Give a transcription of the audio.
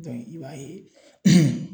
i b'a ye